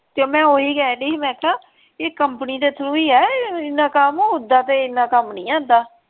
ਤੇ ਮੈਂ ਓਹੀ ਕਹਿਣ ਡੀ ਸੀ ਮੈਂ ਕਿਹਾ ਕੰਪਨੀ ਦੇ ਥਰੁ ਹੀ ਹੈ ਏਨਾ ਕੰਮ ਓਦਾਂ ਤੇ ਏਨਾ ਕੰਮ ਨਹੀਂ ਆਉਂਦਾ।